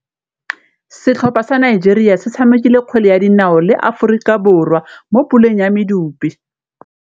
Setlhopha sa Nigeria se tshamekile kgwele ya dinaô le Aforika Borwa mo puleng ya medupe.